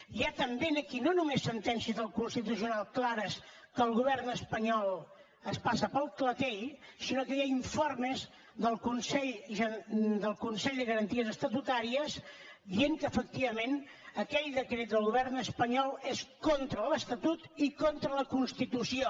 hi ha també aquí no només sentències del constitucional clares que el govern espanyol es passa pel clatell sinó que hi ha informes del consell de garanties estatutàries dient que efectivament aquell decret del govern espanyol és contra l’estatut i contra la constitució